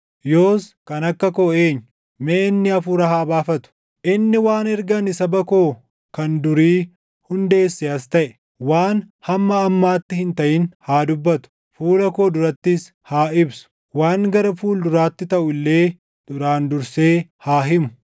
Yoos kan akka koo eenyu? Mee inni hafuura haa baafatu. Inni waan erga ani saba koo kan durii hundeessee as taʼe, waan hamma ammaatti hin taʼin haa dubbatu; fuula koo durattis haa ibsu; waan gara fuulduraatti taʼu illee duraan dursee haa himu.